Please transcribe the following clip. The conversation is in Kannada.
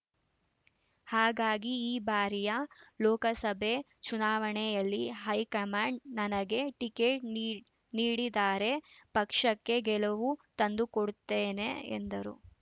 ಹಾಗಾಗಿ ಈ ಬಾರಿಯ ಲೋಕಸಭೆ ಚುನಾವಣೆಯಲ್ಲಿ ಹೈಕಮಾಂಡ್‌ ನನಗೆ ಟಿಕೆಟ್‌ ನೀ ನೀಡಿದರೆ ಪಕ್ಷಕ್ಕೆ ಗೆಲುವು ತಂದುಕೊಡುತ್ತೇನೆ ಎಂದರು